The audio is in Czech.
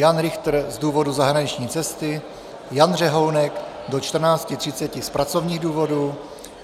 Jan Richter z důvodu zahraniční cesty, Jan Řehounek do 14.30 z pracovních důvodů,